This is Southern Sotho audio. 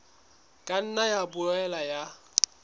ka nna ya boela ya